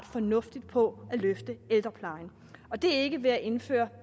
fornuftigt på at løfte ældreplejen og det er ikke ved at indføre